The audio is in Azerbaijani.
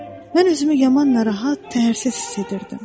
Mən özümü yaman narahat, təsirsiz hiss edirdim.